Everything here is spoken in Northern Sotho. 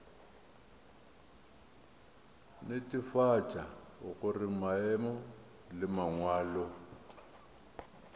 netefatša gore maemo le mangwalo